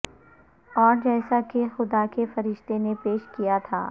اور جیسا کہ خدا کے فرشتہ نے پیش کیا تھا